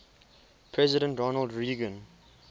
president ronald reagan